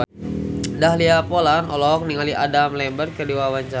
Dahlia Poland olohok ningali Adam Lambert keur diwawancara